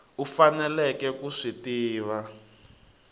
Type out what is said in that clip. u faneleke ku swi tiva